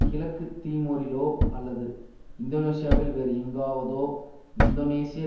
கிழக்கு தீமோரிலோ அல்லது இந்தோனேசியாவில் வேறு எங்காவதோ இந்தோனேசிய